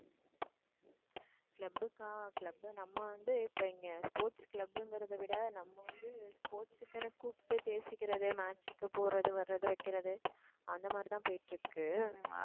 club க்கா club நம்ம வந்து இப்ப இங்க sports club ங்கிறதை விட நம்ம வந்து sports க்குன்னு கூப்பிட்டு பேசிக்கிறது match க்கு போறது வர்றது வைக்கிறது அந்த மாதிரிதான் போயிட்டு இருக்கு